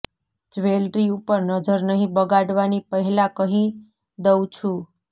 jewellery ઉપર નજર નહીં બગાડવાની પહેલા કહીં દઉ છું